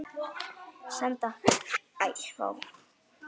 Vek þær sem sofa.